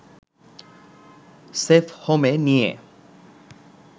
সেফহোমে নিয়ে